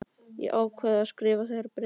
Ég hef ákveðið að skrifa þér bréf.